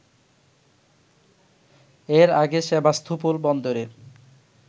এর আগে সেভাস্তোপোল বন্দরের